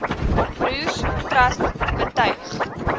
broers trust betuig